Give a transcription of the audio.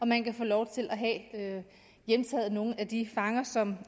man kan få lov til at hjemtage nogle af de fanger som